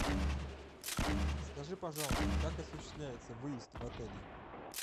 скажи пожалуйста как осуществляется выезд в отеле